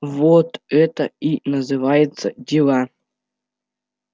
вот это и называется дела